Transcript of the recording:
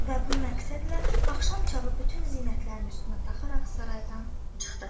Və bu məqsədlə axşam çağı bütün zinətlərini üstünə taxaraq saraydan çıxdı.